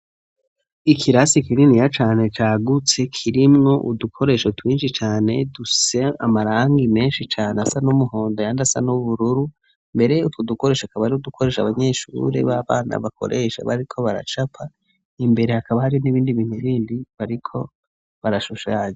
Ikirasi kininiya cane cagutse, kirimwo udukoresho twinshi cane dufise amarangi menshi cane asa n'umuhondo, ayandi asa n'ubururu, mbere utwo dukoresho akaba ari udukoresha abanyeshure b'abana bakoresha bariko baracapa, imbere hakaba Hari n'ibindi bintu bindi bariko barashushanya.